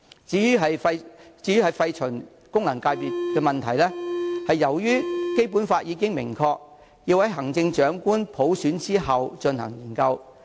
至於廢除功能界別的問題，由於《基本法》已經明確規定，要在行政長官普選後再進行研究。